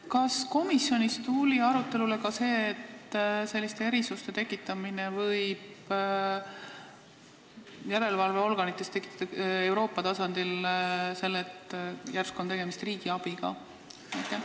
Kas komisjonis tuli arutelule ka see, et selliste erisuste tekitamine võib Euroopa tasandil järelevalveorganites tekitada küsimuse, et järsku on tegemist riigiabiga?